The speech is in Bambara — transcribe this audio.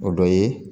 O dɔ ye